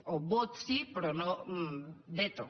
o vot sí però no veto